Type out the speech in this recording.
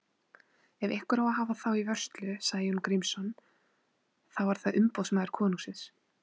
Ef einhver á að hafa þá í vörslu, sagði Jón Grímsson,-þá er það umboðsmaður konungsins.